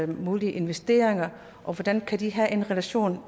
mulige investeringer og hvordan kan det have en relation